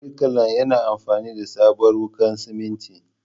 Birkilan yana amfani da sabuwar wuƙar simintin.